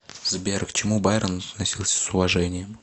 сбер к чему байрон относился с уважением